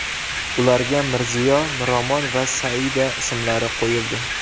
Ularga Mirziyo, Miromon va Saida ismlari qo‘yildi .